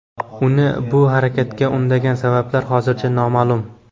Uni bu harakatga undagan sabablar hozircha noma’lum.